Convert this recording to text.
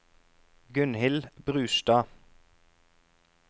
Gunhild Brustad